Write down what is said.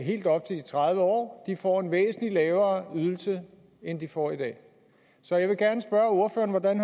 helt op til de tredive år får en væsentlig lavere ydelse end de får i dag så jeg vil gerne spørge ordføreren hvordan